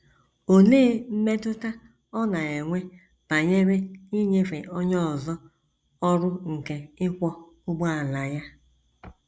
Olee mmetụta ọ na - enwe banyere inyefe onye ọzọ ọrụ nke ịkwọ ụgbọala ya?